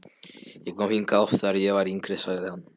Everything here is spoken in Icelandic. Ég kom hingað oft, þegar ég var yngri sagði hann.